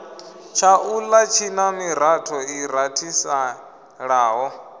tshaula tshina miratho i rathiselaho